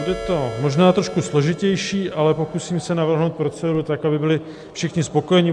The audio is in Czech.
Bude to možná trošku složitější, ale pokusím se navrhnout proceduru tak, aby byli všichni spokojeni.